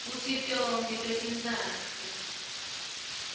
kutsi tonkhe totintsatfu